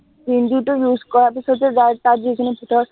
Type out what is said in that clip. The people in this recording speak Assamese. green tea টো use কৰাৰ পিছত যে যাৰ, তাত যিখিনি থাকে